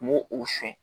N b'o o siyɛn